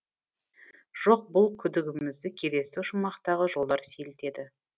жоқ бұл күдігімізді келесі шумақтағы жолдар сейілтеді